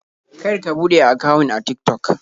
Kar ka buɗe akawun a Tik-Tok.